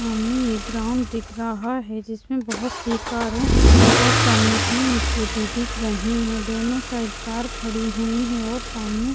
सामने एक ग्राउंड दिख रहा है जिसमें बहुत सी कार हैं और सामने तीन स्कूटी दिख रही हैं दोनों साइड कार खड़ी हुई हैं और सामने --